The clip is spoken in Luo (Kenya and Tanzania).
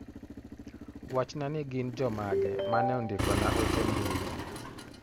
Wachna ni gin jomage mane ondiko na ote mbi